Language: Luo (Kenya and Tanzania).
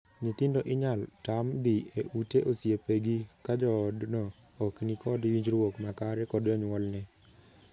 Nyithindo inyal tam dhii e ute osiepegi ka joodno ok ni kod winjruok makare kod jonyuolne.